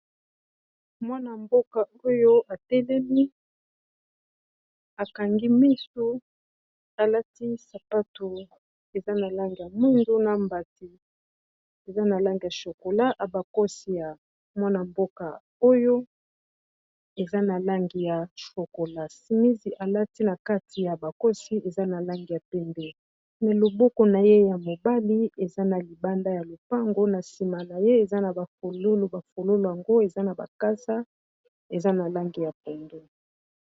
mwana-mboka oyo atelemi akangi miso alati sapato eza na langi ya mundu na mbati eza na langi ya chokola abakosi ya mwana-mboka oyo eza na langi ya chokola simisi alati na kati ya bakosi eza na langi ya pembe ma loboko na ye ya mobali eza na libanda ya lopango na nsima na ye eza na bafololo yango eza na bakasa eza na langi ya pondo